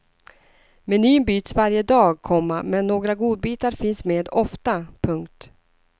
Menyn byts varje dag, komma men några godbitar finns med ofta. punkt